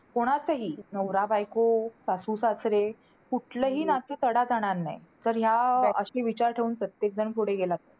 की FC चा जो topic आहे तो आपल्याला syllabus मध्ये असायला पाहिजे की नको ,